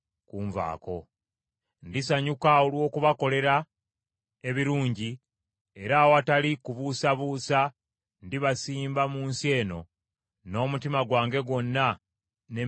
Ndisanyuka olw’okubakolera ebirungi era awatali kubuusabuusa ndibasimba mu nsi eno n’omutima gwange gwonna n’emmeeme yange yonna.